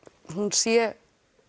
sé